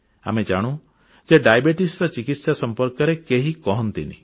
ଆମେ ଜାଣୁ ଯେ ମଧୁମେହର ଚିକିତ୍ସା ସମ୍ପର୍କରେ କେହି କହନ୍ତିନି